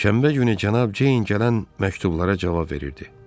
Şənbə günü Cənab Ceyn gələn məktublara cavab verirdi.